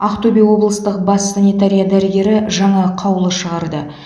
ақтөбе облыстық бас санитария дәрігері жаңа қаулы шығарды